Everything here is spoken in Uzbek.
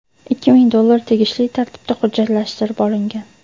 Ikki ming dollar tegishli tartibda hujjatlashtirib olingan.